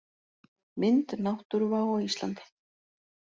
Mynd: Náttúruvá á Íslandi.